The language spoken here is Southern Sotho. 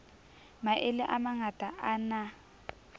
maele a mangata a na